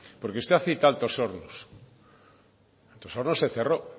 porque usted ha citado altos hornos altos hornos se cerró